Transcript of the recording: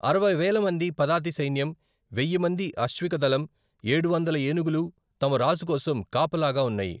అరవై వేల మంది పదాతి సైన్యం, వెయ్య మంది అశ్విక దళం, ఏడువందల ఏనుగులు తమ రాజు కోసం కాపలాగా ఉన్నాయి.